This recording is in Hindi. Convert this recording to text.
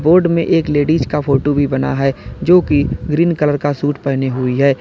बोर्ड में एक लेडिज का फोटो भी बना है जो की ग्रीन कलर का सूट पेहनी हुई है।